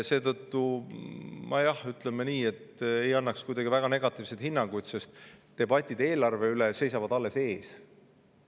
Seetõttu ma, ütleme nii, ei annaks väga negatiivseid hinnanguid, sest debatid eelarve üle seisavad alles ees.